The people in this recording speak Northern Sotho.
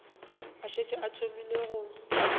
a šetše a thomile go